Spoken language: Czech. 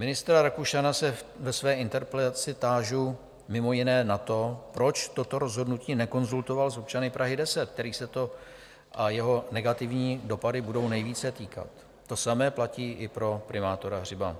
Ministra Rakušana se ve své interpelaci tážu mimo jiné na to, proč toto rozhodnutí nekonzultoval s občany Prahy 10 - kterých se to, a jeho negativní dopady, budou nejvíce týkat, to samé platí i pro primátora Hřiba